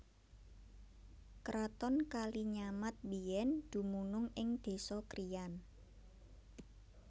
Kraton Kalinyamat biyèn dumunung ing désa Kriyan